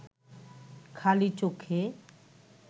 খালি চোখে